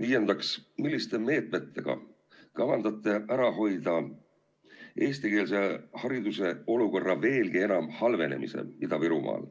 Viiendaks, milliste meetmetega kavandate ära hoida eestikeelse hariduse olukorra veelgi enam halvenemise Ida-Virumaal,